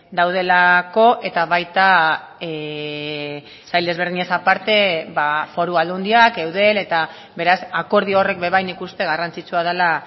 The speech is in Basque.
daudelako eta baita sail ezberdinez aparte foru aldundiak eudel eta beraz akordio horrek be bai nik uste garrantzitsua dela